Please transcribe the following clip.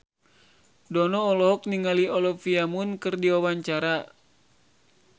Dono olohok ningali Olivia Munn keur diwawancara